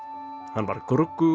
hann var